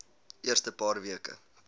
eerste paar weke